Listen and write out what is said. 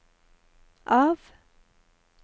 av